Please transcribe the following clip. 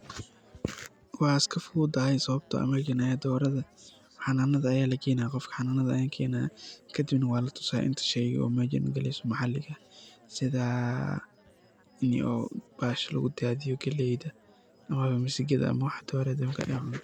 Wey iskafududahay sawabto ah marki aya dorada xananada aya lageynaya qof xanannada ayay kenaya kadib walatusaya inta shay ay meshan ugaleyso oo maxaliga ah sida bahasha lugudadiyo galeyda oo misigada ama waxa dorada ay cunto.